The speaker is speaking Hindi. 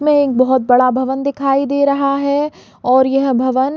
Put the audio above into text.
यह एक बहुत बड़ा भवन दिखाई दे रहा है और यह भवन--